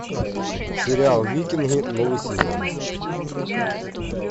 сериал викинги новый сезон